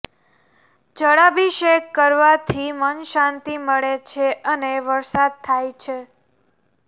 જળાભિષેક કરવાથી મન શાંતિ મળે છે અને વરસાદ થાય છે